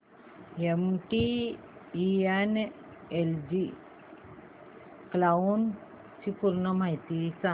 MTNL cloud ची पूर्ण माहिती सांग